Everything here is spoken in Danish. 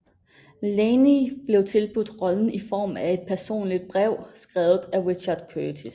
Linney blev tilbudt rollen i form af et personligt brev skrevet af Richard Curtis